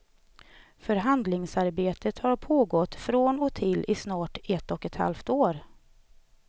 Förhandlingsarbetet har pågått från och till i snart ett och ett halvt år.